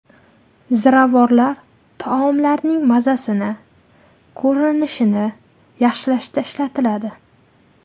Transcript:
Ziravorlar taomlarning mazasini, ko‘rinishini yaxshilashda ishlatiladi.